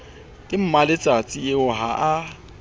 ke mmaletsatsi eo ha a